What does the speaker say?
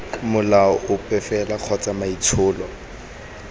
molao ope fela kgotsa maitsholo